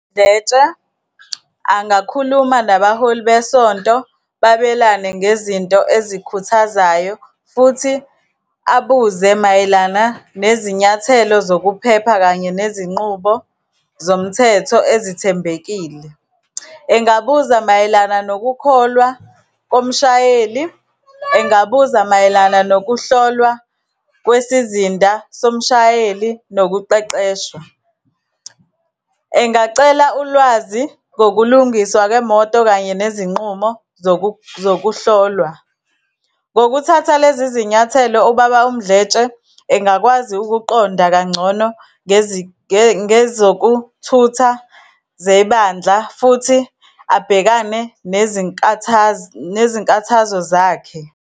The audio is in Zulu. Mdletshe angakhuluma nabaholi besonto, babelane ngezinto ezikhuthazayo, futhi abuze mayelana nezinyathelo zokuphepha, kanye nezinqubo zomthetho ezithembekile. Engabuza mayelana nokukholwa komshayeli, engabuza mayelana nokuhlolwa kwisizida somshayeli nokuqeqeshwa, engacela ulwazi ngokulungiswa kwemoto kanye nezinqumo zokuhlolwa. Ngokuthatha lezi zinyathelo, uBaba uMdletshe engakwazi ukuqonda kangcono ngezokuthutha zebandla, futhi abhekane nezinkathazo zakhe.